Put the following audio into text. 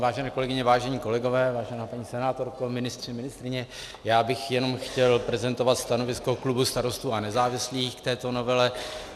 Vážené kolegyně, vážení kolegové, vážená paní senátorko, ministři, ministryně, já bych jenom chtěl prezentovat stanovisko klubu Starostů a nezávislých k této novele.